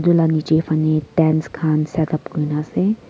etu lah nicche fahne tents khan setup kuri ke na ase.